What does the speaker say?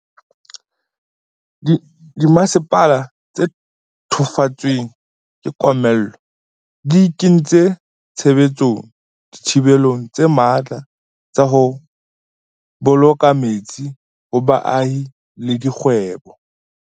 Dimasepala tse thefotsweng ke komello di kentse tshebetsong dithibelo tse matla tsa ho bolo ka metsi ho baahi le dikgwebo.